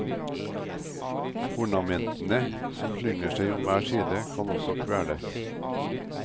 Ornamentene som slynger seg om hver side, kan også kvele.